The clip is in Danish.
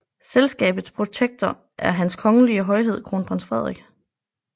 Selskabets protektor er Hans Kongelige Højhed Kronprins Frederik